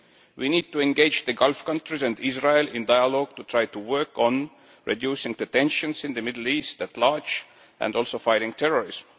We need to engage the Gulf countries and Israel in dialogue to try to work on reducing the tensions in the Middle East at large and also fighting terrorism.